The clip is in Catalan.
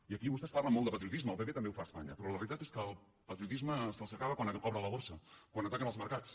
i aquí vostès parlen molt de patriotisme el pp també ho fa a espanya però la realitat és que el patriotisme se’ls acaba quan obren la borsa quan ataquen els mercats